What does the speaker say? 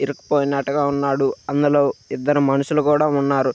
ఇరుక్కుపోయినట్లుగా ఉన్నాడు. అందులో ఇద్దరు మనుషులు కూడా ఉన్నారు.